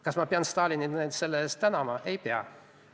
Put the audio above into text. Kas ma pean Stalinit selle eest tänama?